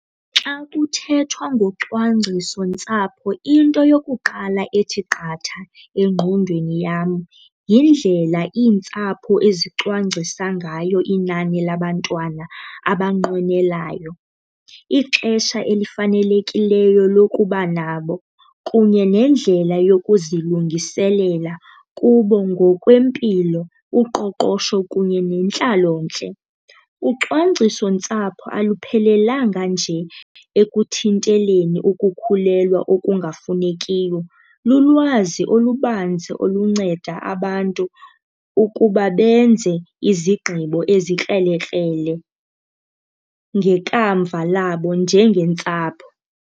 Xa kuthethwa ngocwangciso ntsapho into yokuqala ethi qatha engqondweni yam yindlela iintsapho ezicwangcisa ngayo inani labantwana abanqwenelayo. Ixesha elifanelekileyo lokuba nabo kunye nendlela yokuzilungiselela kubo ngokwempilo, uqoqosho kunye nentlalontle. Ucwangcisontsapho aluphelelanga nje ekuthinteleni ukukhulelwa okungafunekiyo, lulwazi olubanzi olunceda abantu ukuba benze izigqibo ezikrelekrele ngekamva labo njengentsapho.